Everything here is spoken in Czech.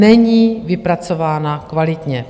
Není vypracována kvalitně.